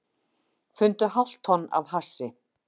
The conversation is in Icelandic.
Fundu hálft tonn af hassi